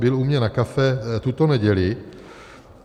Byl u mě na kávě tuto neděli.